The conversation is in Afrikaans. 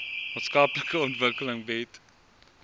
maatskaplike ontwikkeling bied